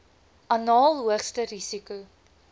anaal hoogste risiko